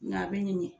Nka a bɛ ɲin